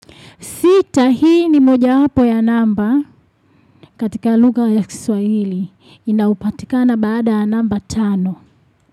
Sita hii ni moja hapo ya namba katika luga ya kiswa hili. Inaupatikana baada ya namba tano.